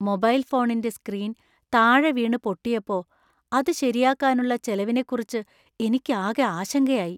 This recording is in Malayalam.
മൊബൈൽ ഫോണിന്‍റെ സ്ക്രീൻ താഴെ വീണ് പൊട്ടിയപ്പോ അത് ശരിയാക്കാനുള്ള ചെലവിനെക്കുറിച്ച് എനിക്കാകെ ആശങ്കയായി .